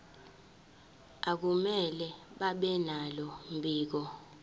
akumele babenalo mbiko